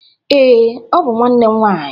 Ee, ọ bụ nwanne nwanyị